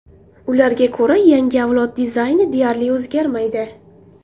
Ularga ko‘ra, yangi avlod dizayni deyarli o‘zgarmaydi.